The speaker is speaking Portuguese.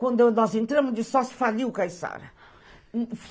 Quando nós entramos de sócia, faliu o Caissara.